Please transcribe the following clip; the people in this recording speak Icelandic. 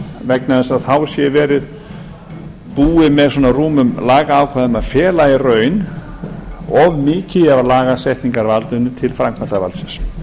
vegna þess að þá sé búið með svona rúmum lagaákvæðum að fela í raun of mikið af lagasetningarvaldinu til framkvæmdarvaldsins